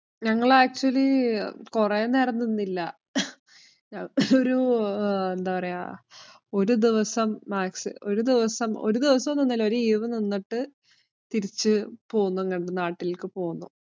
ഞങ്ങള് actually കൊറേ നേരം നിന്നില്ല. ഒരു എന്താ പറയ്ക ഒരു ദിവസ maxi ഒരു ദിവസം ഒരു ദിവസവും നിന്നില്ല. ഒരു eve നിന്നിട്ടു തിരിച്ചു പോന്നു ഇങ്ങട് നാട്ടിലേക്കു പോന്നു.